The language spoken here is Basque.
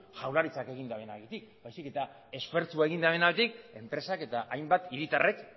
jaurlaritzak egin dabenagatik baizik eta esfortzua egin dabenagatik enpresak eta hainbat hiritarrek